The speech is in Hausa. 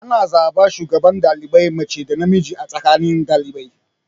Ana zaɓan shugaban ɗalibai mace da namiji a tsakanin ɗalibai.